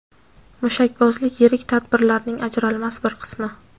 Mushakbozlik yirik tadbirlarning ajralmas bir qismi.